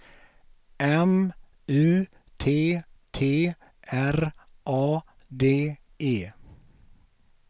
M U T T R A D E